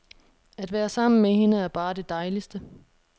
At være sammen med hende er bare det dejligste.